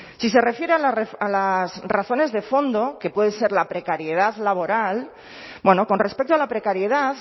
si se refiere a las razones de fondo que puede ser la precariedad laboral con respecto a la precariedad